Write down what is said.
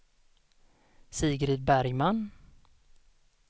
Sigrid Bergman